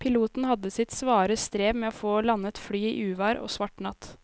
Piloten hadde sitt svare strev med å få landet flyet i uvær og svart natt.